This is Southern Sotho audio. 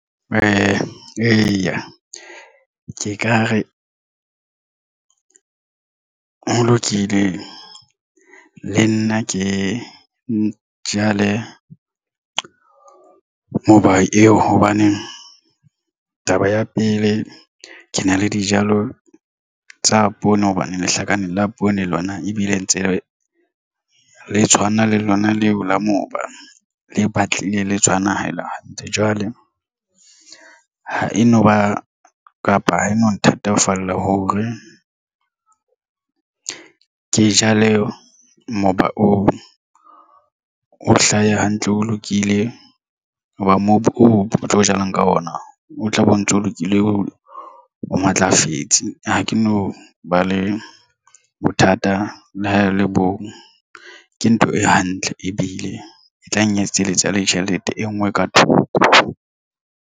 Eya, ke ka re ho lokile le nna ke jale moba eo hobaneng taba ya pele ke na le dijalo tsa poone hobane lehlaka nne la poone lona ebile ntse le tshwana? Le lona leo la moba le batlile le tshwana. Ha e le hantle, jwale ha e no ba kapa ho eno. No thatafalla hore ke jale moba on o hlaha hantle, o lokile hoba mobu o tlo jalang ka ona o tlabe o ntso lokile o matlafetse. Ha ke no ba le bothata le ha e le bong ke ntho e hantle ebile e tlang. Etsetse eletsa le tjhelete e nngwe ka thoko.